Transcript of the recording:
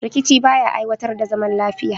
Rikici ba ya aiwatar da zaman lafiya